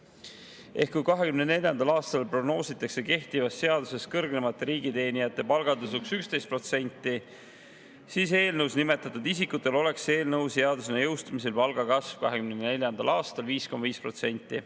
Kui 2024. aastal oleks kehtiva seaduse kohaselt kõrgemate riigiteenijate palga tõus 11%, siis eelnõus nimetatud isikutel oleks eelnõu seadusena jõustumisel palgakasv 2024. aastal 5,5% …